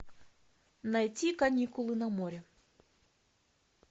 найти каникулы на море